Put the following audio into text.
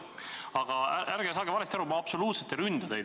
Aga ärge saage valesti aru, ma absoluutselt ei ründa teid.